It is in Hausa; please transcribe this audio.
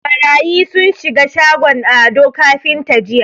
Ɓarayi sun shiga shagon Ado kafinta jiya.